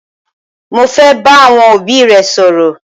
Mọ fẹ́ bá àwọn obì rẹ̀ sọ̀rọ.